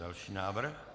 Další návrh?